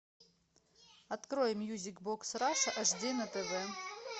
открой мьюзик бокс раша аш ди на тв